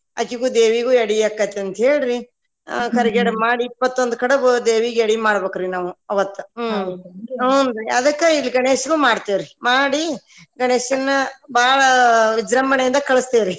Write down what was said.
ಅಕಿಗೂ ದೇವಿಗು ಎಡಿ ಆಕ್ಕೇತಿ ಅಂತ ಹೇಳ್ರಿ ಕರಿಗಡಬ ಮಾಡಿ ಇಪ್ಪತ್ತೊಂದ ಕಡಬ ದೇವಿಗೆ ಎಡಿ ಮಾಡ್ಬೇಕ್ರಿ ನಾವ್ ಆವತ್ತ ಅದಕ್ಕ ಗಣೇಶನ ಮಾಡ್ತೇವ್ರಿ ಮಾಡಿ ಗಣೇಶನ ಬಾಳ ವಿಜೃಂಭಣೆಯಿಂದ ಕಳಸ್ತೇವ್ರಿ.